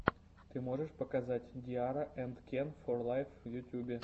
ты можешь показать ди арра энд кен фор лайф в ютьюбе